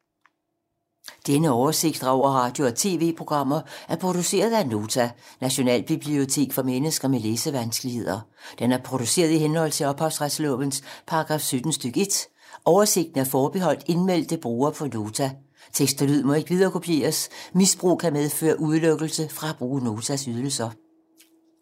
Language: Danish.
Denne oversigt over radio og TV-programmer er produceret af Nota, Nationalbibliotek for mennesker med læsevanskeligheder. Den er produceret i henhold til ophavsretslovens paragraf 17 stk. 1. Oversigten er forbeholdt indmeldte brugere på Nota. Tekst og lyd må ikke viderekopieres. Misbrug kan medføre udelukkelse fra at bruge Notas ydelser.